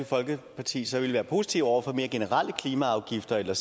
folkeparti så vil være positive over for mere generelle klimaafgifter eller